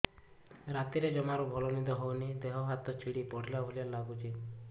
ରାତିରେ ଜମାରୁ ଭଲ ନିଦ ହଉନି ଦେହ ହାତ ଛିଡି ପଡିଲା ଭଳିଆ ଲାଗୁଚି